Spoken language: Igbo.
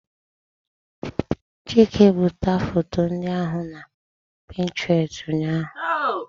Chike budata foto ndị ahụ na Pinterest ụnyahụ.